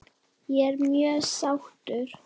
Ég er mjög sáttur.